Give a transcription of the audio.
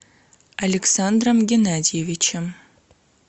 александром геннадьевичем